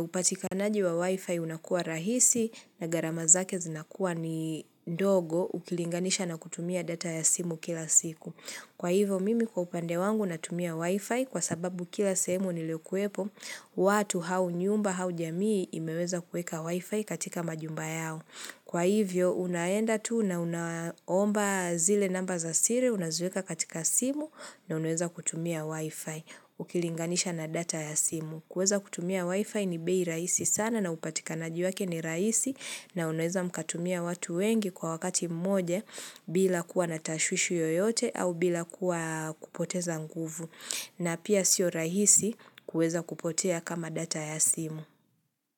upatikanaji wa wifi unakua rahisi na gharama zake zinakuwa ni dogo ukilinganisha na kutumia data ya simu kila siku. Kwa hivyo mimi kwa upande wangu natumia wifi kwa sababu kila sehemu niliyo kwepo watu au nyumba au jamii imeweza kuweka wifi katika manyumba yao. Kwa hivyo unaenda tu na unaomba zile namba za siri unaziweka katika simu na unaweza kutumia wifi ukilinganisha na data ya simu. Kuweza kutumia wifi ni bei rahisi sana na upatikanaji wake ni rahisi na unaweza mkatumia watu wengi kwa wakati mmoja bila kuwa natashwishu yoyote au bila kuwa kupoteza nguvu. Na pia siyo rahisi kweza kupotea kama data ya simu.